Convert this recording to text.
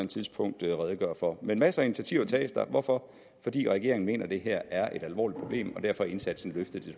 tidspunkt redegøre for men masser af initiativer hvorfor fordi regeringen mener at det her er et alvorligt problem og derfor er indsatsen løftet til